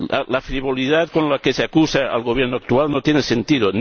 La frivolidad con la que se acusa al Gobierno actual no tiene sentido